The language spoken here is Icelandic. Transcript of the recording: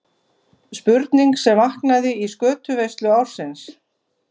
Spurning sem vaknaði í skötuveislu ársins.